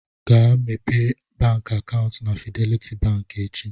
Gaa mepee bank akaụntụ na Fidelity bank echi.